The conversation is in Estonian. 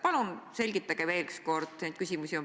Ja mis asutus sellise info jagamisega võiks tegeleda?